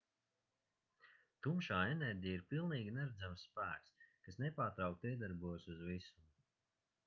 tumšā enerģija ir pilnīgi neredzams spēks kas nepārtraukti iedarbojas uz visumu